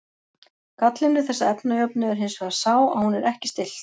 Gallinn við þessa efnajöfnu er hins vegar sá að hún er ekki stillt.